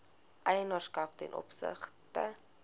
eienaarskap ten opsigte